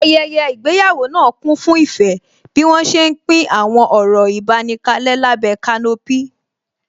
Ayẹyẹ ìgbéyàwó náà kún fún ìfẹ́ bí wọ́n ṣé ń pín àwọn ọ̀rọ̀ ìbánikalẹ́ lábẹ́ kanopí